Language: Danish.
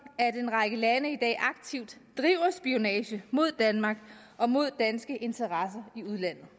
at en række lande i dag aktivt driver spionage mod danmark og mod danske interesser i udlandet